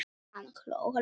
Hann hló lágt.